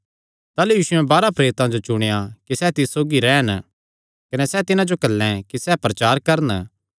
ताह़लू यीशुयैं बारांह प्रेरितां जो चुणेया कि सैह़ तिस सौगीसौगी रैह़न कने सैह़ तिन्हां जो घल्लैं कि सैह़ प्रचार करन